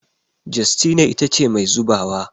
Justina ita ce Mai zubawa